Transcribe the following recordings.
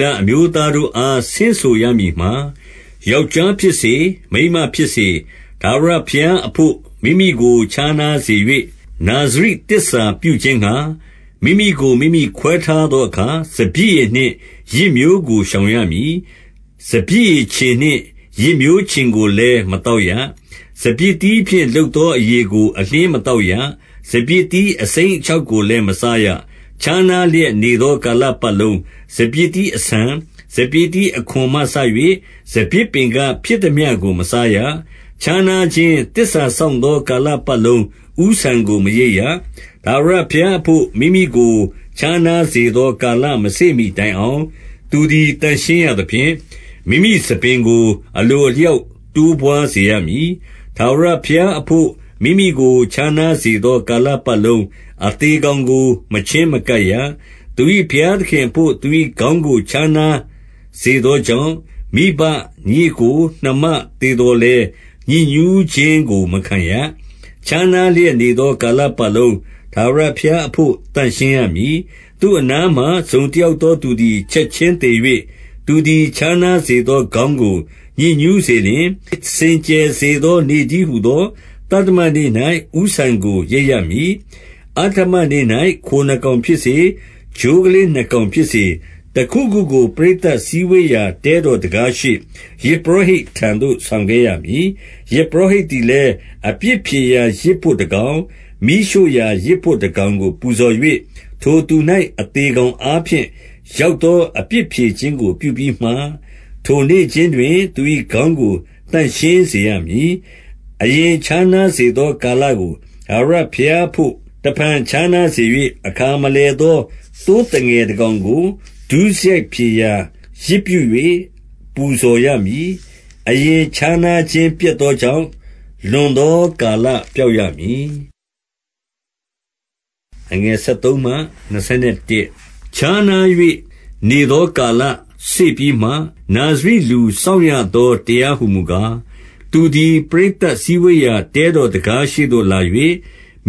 လအမျိုးသားတို့အား ဆင့်ဆိုရမည်မှာ၊ 2 ယောက်ျားဖြစ်စေ၊ မိန်းမဖြစ်စေ၊ ထာဝရဘုရား အဘို့ မိမိကိုခြား နားစေ၍ နာဇရိသစ္စာပြုခြင်းငှါ မိမိကို မိမိခွဲထားသောအခါ၊ 3 စပျစ်ရည်နှင့်ယစ်မျိုးကို ရှောင်ရမည်။ စပျစ် ရည်ချဉ်နှင့် ယစ်မျိုးချဉ်ကိုလည်း မသောက်ရ။ စပျစ်သီးဖြင့် လုပ်သောအရည်ကိုအလျှင်း မသောက်ရ။ စပျစ်သီး အစိမ်းအခြောက်ကိုလည်း မစားရ။ 4 ခြားနားလျက်နေသော ကာလပတ်လုံး စပျစ်သီး အဆန်၊ စပျစ်သီးအခွံမှစ၍ စပျစ်ပင်က ဖြစ်သမျှကို မစားရ။ 5 ခြားနားခြင်းသစ္စာစောင့်သော ကာလပတ်လုံး၊ ဦးဆံကို မရိတ်ရ။ ထာဝရဘုရားအဘို့ မိမိကို ခြားနားစေ သော ကာလမစေ့မှီတိုင်အောင် သူသည် သန့်ရှင်းရသဖြင့်၊ မိမိဆံပင်ကို အလိုအလျောက် တိုးပွားစေမည်။ 6 ထာဝရဘုရားအဘို့ မိမိကိုခြားနားစေသော ကာလပတ်လုံး၊ အသေကောင်ကို မချဉ်းမကပ်ရ။ 7 သူ၏ဘုရားသခင်အဘို့ သူ၏ခေါင်းကို ခြားနား စေသောကြောင့်၊ မိဘ၊ ညီအစ်ကို၊ နှမသေသော်လည်း ညစ်ညူးခြင်းကိုမခံရ။ 8 ခြားနားလျက်နေသော ကာလပတ်လုံး၊ ထာဝရ ဘုရားအဘို့ သန့်ရှင်းရမည်။ 9 သူ့အနားမှာ တစုံတယောက်သောသူသည် ချက်ခြင်းသေ၍၊ သူသည် ခြားနားစေသောခေါင်းကို ညစ်ညူးစေလျှင်၊ စင်ကြယ်စေသော နေ့တည်းဟူသော သတ္တမနေ့၌ ဦးဆံကို ရိတ်ရမည်။ 10 အဌမနေ့၌ ခိုနှစ်ကောင်ဖြစ်စေ၊ ချိုးကလေး နှစ်ကောင်ဖြစ်စေ၊ တခုခုကို ပရိသတ်စည်းဝေးရာ တဲ တော်တံခါးရှေ့ ယဇ်ပုရောဟိတ်ထံသို့ ဆောင်ခဲ့ရမည်။ 11 ယဇ်ပုရောဟိတ်သည်လည်း၊ အပြစ်ဖြေရာယဇ် ဘို့တကောင်၊ မီးရှို့ရာယဇ်ဘို့ကကောင်ကို ပူဇော်၍ ထိုသူ၌ အသေကောင်အားဖြင့် ရောက်သော အပြစ်ဖြေခင်းကို ပြုပြီးမှ၊ ထိုနေ့ခြင်းတွင်သူ၏ခေါင်းကို သန့်ရှင်းစေ ရမည်။ 12 အရင်ခြားနားစေသော ကာလကို ထာဝရ ဘုရားအဘို့ တဖန် ခြားနားစေ၍ အခါမလည်သော သိုးသငယ်တကောင်ကို ဒုစရိုက်ဖြေရာ ယဇ်ပြု၍ ပူဇော် ရမည်။ အရင်းခြားနားခြင်းပျက်သောကြောင့် လွန်သော ကာလပျောက်ရမည်။ 13 ခြားနား၍ နေသောကာလစေ့ပြီးမှ၊ နာဇရိလူ စောင့်ရသော တရားဟုမူကား၊ သူသည် ပရိသတ်စည်း ဝေးရာ တဲတော်တံခါးရှေ့သို့ လာ၍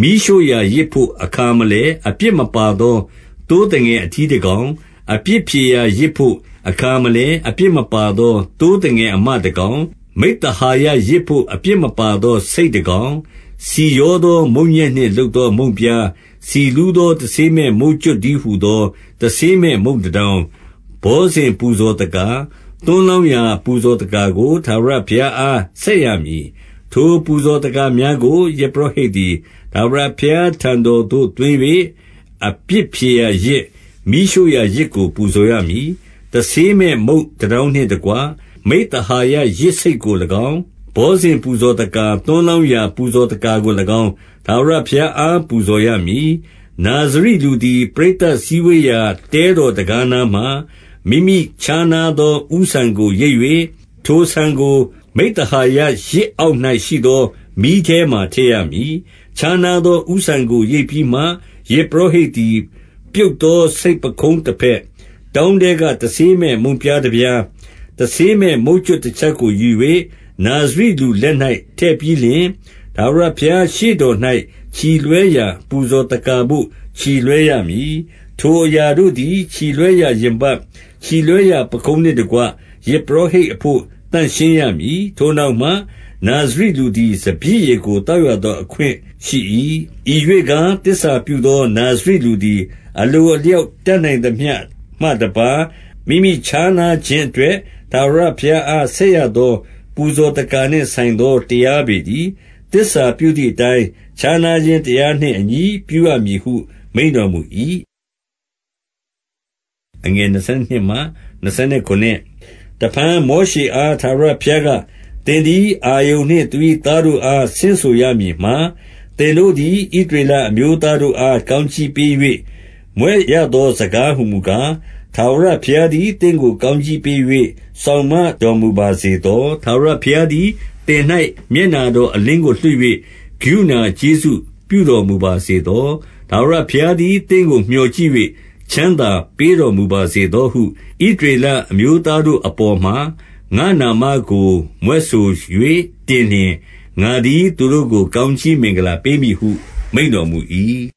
၊ 14 မီးရှို့ရာယဇ်ဘို့ အခါမလည် အပြစ်မပါသော သိုး သငယ်အထီးတကောင် အပြစ်ဖြေရာယဇ်ဘို့အခါမလည် အပြစ်မပါသော သိုးသငယ်အမတကောင် မိဿဟာယ ယဇ်ဘို့ အပြစ်မပါသောဆိတ်တကောင်၊ 15 ဆီရောသောမုန့်ညက်နှင့်လုပ်သော မုန့်ပြား၊ ဆီလူးသော တဆေးမဲ့ မုန့်ကြွပ်တည်းဟူသော တဆေးမဲ့ မုန့်တတောင်း၊ ဘောဇဉ်ပူဇော်သက္ကာ၊ သွန်းလောင်းရာ ပူဇော်သက္ကာကို ထာဝရဘုရားအား ဆက်ရမည်။ 16 ထိုပူဇော်သက္ကာများကို ယဇ်ပုရောဟိတ်သည် ထာဝရဘုရားထံတော်သို့သွင်း၍ အပြစ်ဖြေရာ ယဇ်၊ မီးရှို့ ရာယဇ်ကို ပူဇော်ရမည်။ 17 တဆေးမဲ့ မုန့်တတောင်းနှင့်တကွ၊ မိဿဟာယ ယဇ်ဆိတ်ကို၎င်း ဘောဇဉ်ပူဇော်သက္ကာ သွန်းလောင်းရာ ပူဇော်သက္ကာကို၎င်း၊ ထာဝရဘုရားအားပူဇော်ရမည်။ 18 နာဇရိလူသည်၊ ပရိသတ်စည်းဝေးရာ တဲတော် တံခါးနားမှာ မိမိခြားနားသော ဦးဆံကို ရိတ်၍၊ ထိုဆံကို မိဿဟာယယဇ်အောက်၌ရှိသော မီးထဲမှာထည့်ရမည်။ 19 ခြားနားသော ဦးဆံကို ရိတ်ပြီးမှ၊ ယဇ်ပုရော ဟိတ်သည် ပြုတ်သော ဆိတ်ပခုံးတဘက်၊ တောင်းထဲက တဆေးမဲ့မုန့်ပြားတပြား၊ တဆေးမဲ့မုန့်ကြွပ်တချက်ကို ယူ၍ နာဇရိလူလက်၌ ထည့်ပြီးလျှင်၊ 20 ထာဝရဘုရားရှေ့တော်၌ ချီလွှဲရာပူဇော် သက္ကာဘို့ ချီလွှဲရမည်။ ထိုအရာတို့သည်၊ ချီလွှဲရာရင်ပတ်၊ ချီလွှဲရာ ပခုံးနှင့်တကွ ယဇ်ပုရောဟိတ်အဘို့ သန့်ရှင်းရမည်။ ထိုနောက်မှ နာဇရိလူသည် စပျစ်ရည်ကို သောက်ရသောအခွင့်ရှိ၏။ 21 ဤရှေ့ကား၊ သစ္စာပြုသောနာဇရိလူသည် အလို အလျောက် တက်နိုင်သမျှတပါး မိမိခြားနားခြင်းအတွက် ထာဝရဘုရားအား ဆက်ရသော ပူဇော်သက္ကာနှင့် ဆိုင် သော တရားပေတည်း။ သစ္စာပြုသည်အတိုင်း ခြားနား ခြင်းတရားနှင့် အညီပြုရမည်ဟု မိန့်တော်မူ၏။ 22 တဖန်မောရှေအား ထာဝရဘုရားက၊ သင်သည် အာရုန်နှင့်သူ၏သားတို့အား ဆင့်ဆိုရမည်မှာ၊ 23 သင်တို့သည်၊ ဣသရေလအမျိုးသားတို့အား ကောင်းကြီးပေး၍ မြွက်ရသော စကားဟူမူကား၊ 24 ထာဝရဘုရားသည်၊ သင့်ကို ကောင်းကြီးပေး၍ စောင့်မတော်မူပါစေသော။ 25 ထာဝရဘုရားသည်သင်၌ မျက်နှာတော်အလင်း ကို လွှတ်၍ ကရုဏာကျေးဇူးပြုတော်မူပါစေသော။ 26 ထာဝရဘုရားသည် သင့်ကို မြော်ကြည့်၍ ချမ်းသာပေးတော်မူပါစေသောဟု 27 ဣသရေလအမျိုးသားတို့ အပေါ်မှာ ငါ့နာမကို မြွက်ဆို၍ တင်လျှင် ငါသည်ထိုသူတို့ကို ကောင်းကြီး မင်္ဂလာပေးမည်ဟု မိန့်တော်မူ၏။